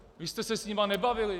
Vy jste se s nimi nebavili.